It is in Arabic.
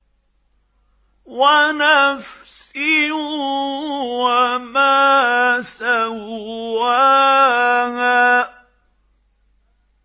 وَنَفْسٍ وَمَا سَوَّاهَا